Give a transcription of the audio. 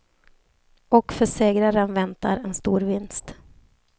Och för segraren väntar en storvinst.